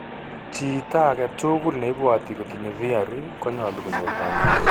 Chiitagetul neibwote kotinye VRE konyolu konyor kanyoindet